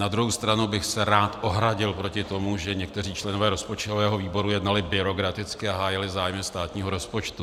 Na druhou stranu bych se rád ohradil proti tomu, že někteří členové rozpočtového výboru jednali byrokraticky a hájili zájmy státního rozpočtu.